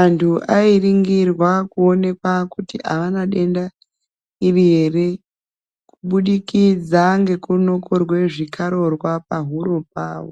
anhu airingira kuonekwa kuti avana denda iri here kubudikidza ngeku nokorwe zvikararwa pahuro pavo.